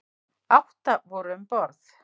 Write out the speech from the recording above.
Átta voru um borð.